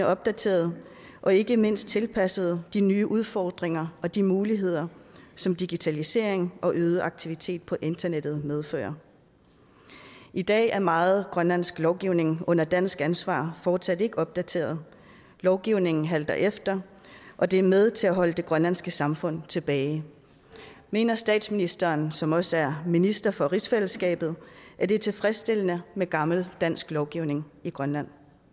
opdateret og ikke mindst tilpasset de nye udfordringer og de muligheder som digitalisering og øget aktivitet på internettet medfører i dag er meget grønlandsk lovgivning under dansk ansvar fortsat ikke opdateret lovgivningen halter efter og det er med til at holde det grønlandske samfund tilbage mener statsministeren som også er minister for rigsfællesskabet at det er tilfredsstillende med gammel dansk lovgivning i grønland